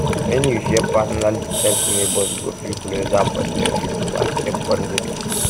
when you share personal details neighbors go feel closer but them fit overstep boundaries